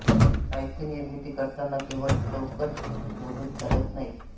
साहित्य निर्मिती करताना केवळ चौकट मोडून चालत नाही